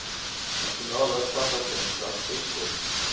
nasionale padagenskap eskom